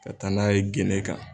Ka taa n'a ye gende kan